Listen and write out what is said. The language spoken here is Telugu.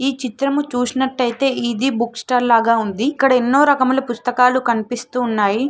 ఈ చిత్రము చూసినట్టయితే ఇది బుక్ స్టాల్ లాగా ఉంది ఇక్కడ ఎన్నో రకముల పుస్తకాలు కనిపిస్తున్నాయి.